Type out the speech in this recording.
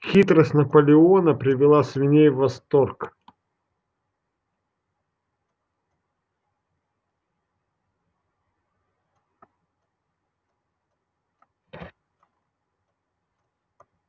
хитрость наполеона привела свиней в восторг